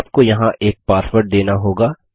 आपको यहाँ एक पासवर्ड देना होगा